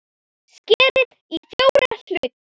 Skerið í fjóra hluta.